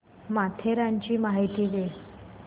माथेरानची माहिती दे